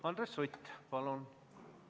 Andres Sutt, palun!